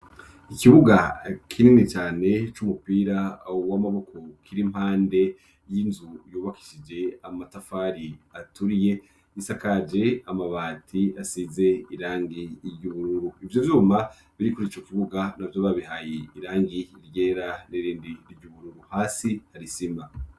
Ikibuga kinini cyane c'umupira w'amaboko kiri mpande y'inzu yubakishije amatafari aturiye isakaje amabati asize irangiryuhururu ibyo zuma birikuri ico kibuga nabyo babihaye irangi ryera nirindi ry'ubururu hasi hari isima.